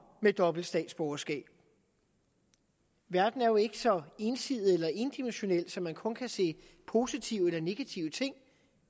med dobbelt statsborgerskab verden er jo ikke så ensidig eller endimensionel at man kun kan se positive eller negative ting